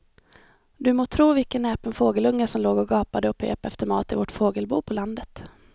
Du må tro vilken näpen fågelunge som låg och gapade och pep efter mat i vårt fågelbo på landet.